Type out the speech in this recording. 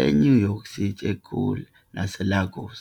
eNew York City, eGoli naseLagos.